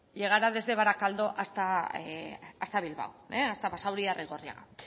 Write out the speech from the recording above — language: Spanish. llegara desde barakaldo hasta bilbao hasta basauri y arrigorriaga